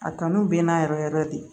A kanu bɛ n na yɛrɛ yɛrɛ de